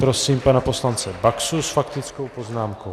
Prosím pana poslance Baxu s faktickou poznámkou.